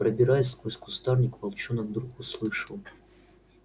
пробираясь сквозь кустарник волчонок вдруг услышал